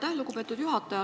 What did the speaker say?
Aitäh, lugupeetud juhataja!